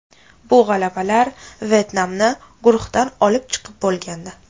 Bu g‘alabalar Vyetnamni guruhdan olib chiqib bo‘lgandi.